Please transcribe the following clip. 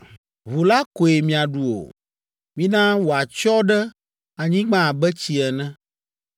Ʋu la koe miaɖu o; mina wòatsyɔ ɖe anyigba abe tsi ene.